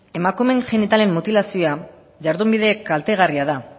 emakumeen genitalen mutilazioa jardunbide kaltegarria da